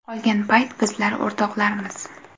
Qolgan payt bizlar o‘rtoqlarmiz.